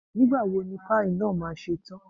Nígbà wo ni páì náà ma ṣe tán?